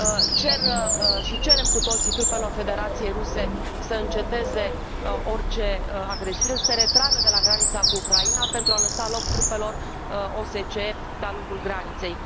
Cer și cerem cu toții trupelor Federației Ruse să înceteze orice agresiune, să se retragă de la granița cu Ucraina pentru a lăsa loc trupelor OSCE de a lungul graniței.